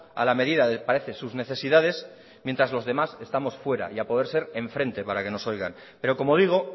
a la medida de parece sus necesidades mientras los demás estamos fuera y a poder ser enfrente para que nos oigan pero como digo